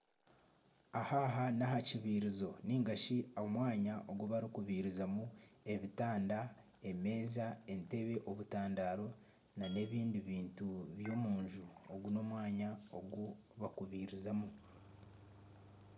Aha aha n'aha kibiirizo nigashi omwanya ogu barikubiizirazamu ebitanda, emeeza, entebe, obutandaaro n'ebindi bintu by'omunju ogu n'omwanya ogu bakubiiziramu